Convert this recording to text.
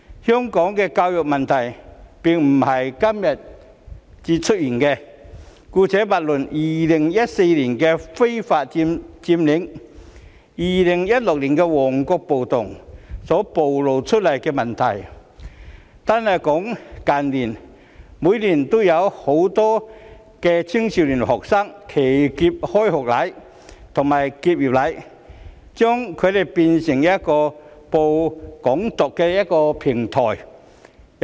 香港的教育問題並非今時今日才出現，姑勿論2014年的非法佔領行動及2016年的旺角暴動所暴露出來的問題，單是近年，每年都有很多年輕學生"騎劫"開學禮及結業禮，將之變成散播"港獨"信息的平台。